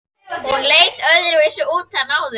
Hún leit öðruvísi út en áður.